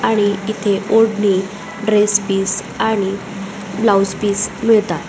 आणि इथे ओडणी ड्रेस बिस ब्लाऊज पीस मिळतात.